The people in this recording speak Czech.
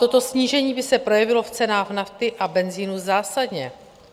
Toto snížení by se projevilo v cenách nafty a benzinu zásadně.